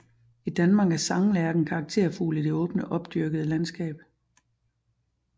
I Danmark er sanglærken karakterfugl i det åbne opdyrkede landskab